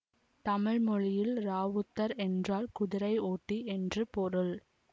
தமிழ் மொழியில் ராவுத்தர் என்றால் குதிரை ஓட்டி என்று பொருள்